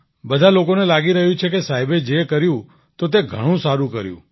બધા લોકોને લાગી રહ્યું છે કે સાહેબે જે કર્યું તો તે ઘણું સારું કર્યું